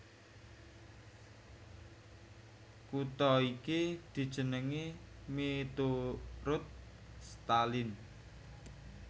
Kutha iki dijenengi miturut Stalin